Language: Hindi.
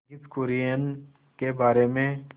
वर्गीज कुरियन के बारे में